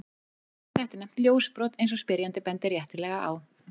Þetta er nefnt ljósbrot, eins og spyrjandi bendir réttilega á.